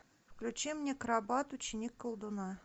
включи мне крабат ученик колдуна